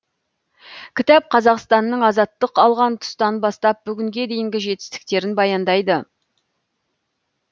кітап қазақстанның азаттық алған тұстан бастап бүгінге дейінгі жетістіктерін баяндайды